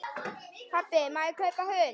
Pabbi, má ég kaupa hund?